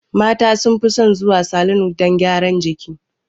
Mata sun fi son zuwa salon don gyaran jiki